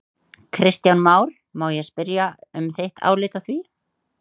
Kristján Már: Má ég spyrja um þitt álit á því?